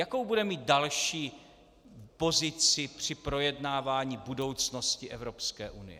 Jakou bude mít další pozici při projednávání budoucnosti Evropské unie?